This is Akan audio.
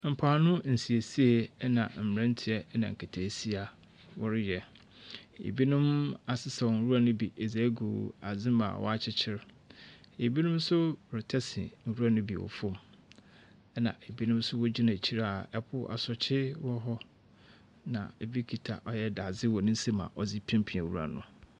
Mpoano nsiesie na mberanteɛ na nketeesia wɔreyɛ. Binom asesa nwura no bi dze egu adze mu a wɔakyekyer. Binom nso retase nwura no bi wɔ fam., ɛnna binom nso wɔgyina ekyir a ɛpo asorɔkye wɔ hɔ, na ebi kita ɔyɛ dadze wɔ ne nsam a ɔdze repiapia nwura no.